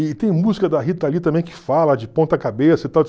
E tem música da Rita Lee também que fala de ponta cabeça e